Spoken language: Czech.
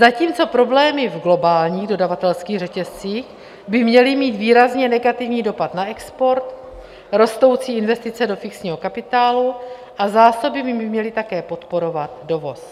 Zatímco problémy v globálních dodavatelských řetězcích by měly mít výrazně negativní dopad na export, rostoucí investice do fixního kapitálu a zásoby by měly také podporovat dovoz.